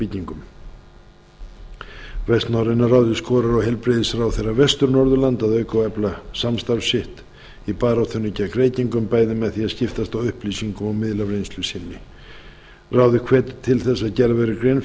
byggingum hvert norræna ráðið skorar á heilbrigðisráðherra vestur norðurlanda að auka og efla samstarf sitt í baráttunni gegn reykingum bæði með því að skiptast á upplýsingum og miðla af reynslu sinni ráðið hvetur til þess að gerð verði grein